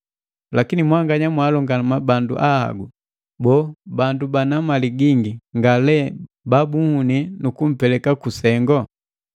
Lakini mwanganya mwaalongama bandu ahagula! Boo, bandu bana mali gingi nga lee babunhuni nu kumpeleka ku sengu?